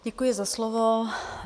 Děkuji za slovo.